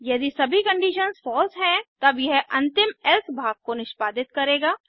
यदि सभी conditions false हैंतब यह अंतिम एल्से भाग को निष्पादित करेगा